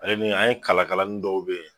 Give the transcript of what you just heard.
Ala min an ye kala kalanin dɔw bɛ yen